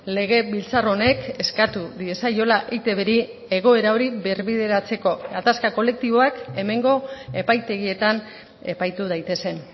legebiltzar honek eskatu diezaiola eitbri egoera hori birbideratzeko gatazka kolektiboak hemengo epaitegietan epaitu daitezen